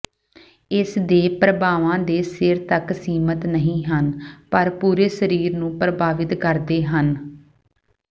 ਇਸਦੇ ਪ੍ਰਭਾਵਾਂ ਦੇ ਸਿਰ ਤੱਕ ਸੀਮਤ ਨਹੀਂ ਹਨ ਪਰ ਪੂਰੇ ਸਰੀਰ ਨੂੰ ਪ੍ਰਭਾਵਤ ਕਰਦੇ ਹਨ